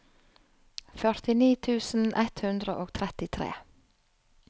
førtini tusen ett hundre og trettitre